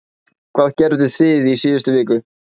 Hvað gerðuð þið í síðustu viku?